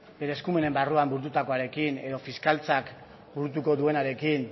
bere eskumenen barruan burututakoarekin edo fiskaltzak burutuko duenarekin